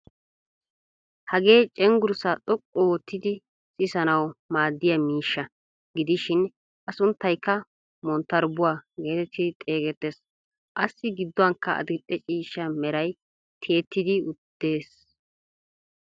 Hagee cengurssaa xoqqu ottidi sissanawu maaddiyaa miishsha gidishin a sunttaykka monttarbbuwaa geetetti xeegettees. assi gidduwaankka adil"e ciishsha meray tiyettidi de'ees.